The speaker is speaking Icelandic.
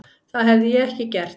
Það hefði ég ekki gert.